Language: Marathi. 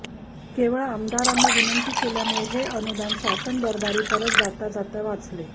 केवळ आमदारांनी विनंती केल्यामुळे हे अनुदान शासनदरबारी परत जाता जाता वाचले